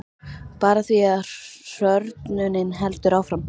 Bara því að hrörnunin heldur áfram.